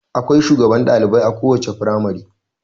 Akwai shugaban dalibai a kowace firamare.